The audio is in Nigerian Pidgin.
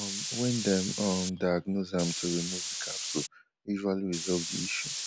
um wen dem um diagnose am to remove di capsule usually resolve di issue